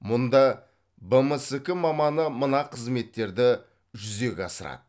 мұнда бмск маманы мына қызметтерді жүзеге асырады